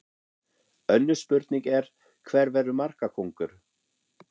Önnur spurning er: Hver verður markakóngur?